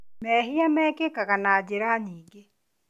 Mehia mekĩkaga na njĩra nyingĩ